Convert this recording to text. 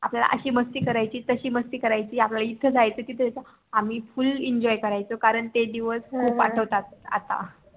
आपल्याला असी मस्ती करायची तसी मस्ती करायची आपल्याला इथे जायचं तिथे जायचं आम्ही full ENJOY करायचो कारण ते दिवस खूप आठवतात आता